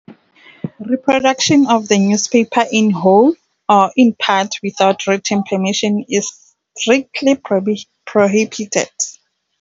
Reproduction of the newspaper in whole or in part without written permission is strictly prohibited.